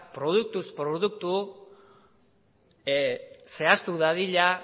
produktuz produktu zehaztu dadila